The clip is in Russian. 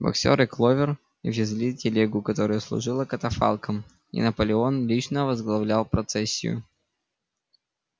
боксёр и кловер везли телегу которая служила катафалком и наполеон лично возглавлял процессию